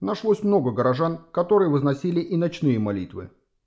нашлось много горожан которые выносили и ночные молитвы